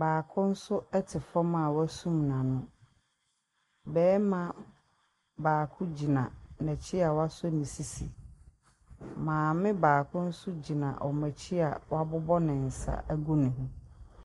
Baako nso te fam a wasum n'ano. Barima baako gyina n'akyi a wasɔ ne sisi. Maame baako nso gyina wɔn akyi a wabobɔ ne nsa agu ne ho.